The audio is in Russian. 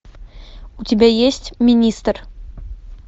у тебя есть министр